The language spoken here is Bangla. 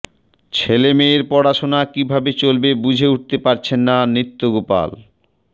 ছেলেমেয়ের পড়াশোনা কী ভাবে চলবে বুঝে উঠতে পারছেন না নিত্যগোপাল